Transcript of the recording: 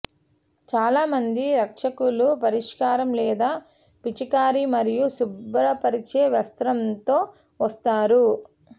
చాలామంది రక్షకులు పరిష్కారం లేదా పిచికారీ మరియు శుభ్రపరిచే వస్త్రంతో వస్తారు